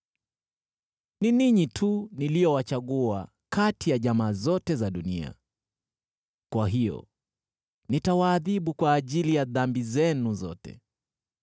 “Ni ninyi tu niliowachagua kati ya jamaa zote za dunia; kwa hiyo nitawaadhibu kwa ajili ya dhambi zenu zote.”